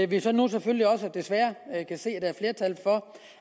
vi så nu selvfølgelig også desværre kan se